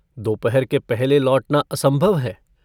दोपहर के पहले लौटना असंभव है।